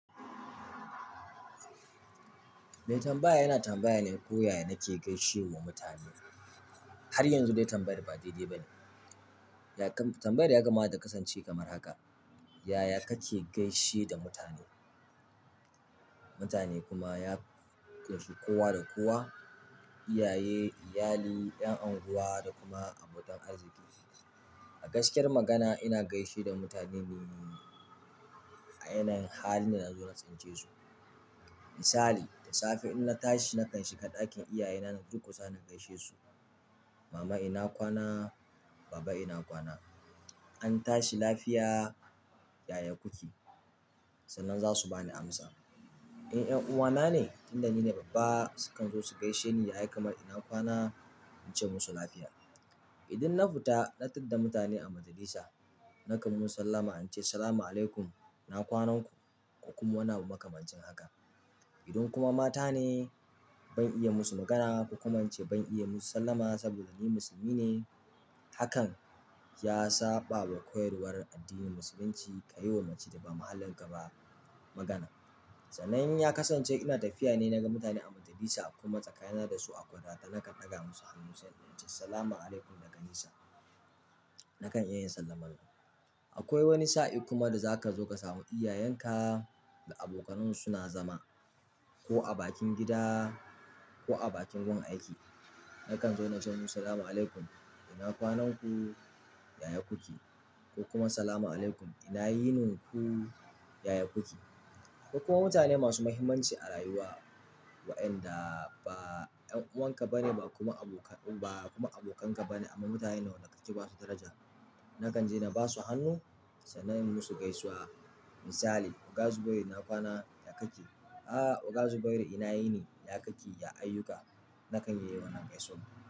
Mai tambaya yana tambaya ne ko yaya nake gaishe wa mutane. Har yanzu dai tambayar ba daidai ba ne. Ya kam-- tambayar ya kama ta kasance kamar haka. Yaya kake gaishe da mutane? Mutane kuma ya gaishe kowa da kowa, iyaye, iyali, 'yan anguwa da kuma abokan arziki. A gaskiyar magana ina gaishe da mutane ne a yanayin halin da nazo na tsince su. Misali, da safe in na tashi nakan shiga ɗakin iyaye na na durƙusa na gaishe su. "Mama ina kwana? Baba ina kwana? An tashi lafiya, yaya kuke?" Sannan za su bani amsa. In 'yan uwana ne, tun da ni ne babba sukan zo su gaishe ni, yaya kamar ina kwana? In ce musu lafiya. Idan na fita na tadda mutane a majalisa, nakan musu sallama in ce, "Salamu alaikum, ina kwanan ku?" Ku kuma wani abu makamancin haka. Idan kuma mata ne ban iya musu magana ko kuma ince ban iya musu sallama saboda ni musulmi ne. Hakan ya saɓawa koyarwar addinin musulunci kayi wa mace da ba mahallin ka ba magana. Sannan ya kasan ce ina tafiya ne naga mutane a majalisa kuma tsakanina dasu akwai tazara zan daga musu hannu nace salamu alaikum daga nesa. Nakan iya yin sallamar. Akwai wani sa'in kuma da zaka zo ka samu iyayenka da abokanan su suna zama ko a bakin gida ko a bakin gun aiki. Nakan zo na ce musu, "Salamun alaikum, ina kwanan ku? Yaya kuke?" Ko kuma, "Salamun alaikum, ina yinin ku? Yaya kuke?" Akwai kuma mutane masu mahimmanci a rayuwa wayanda ba ƴan uwanka bane ba kuma abokan ka bane amma mutane ne wanda kake basu daraja. Nakan je na basu hannu sannan nayi musu gaisuwa. Misali, "Oga Zubairu ina kwana? Yaya kake?" "A'a Oga Zubairu ina yini? Ya kake? Ya ayyuka?" Nakan yi wannan gaisawan.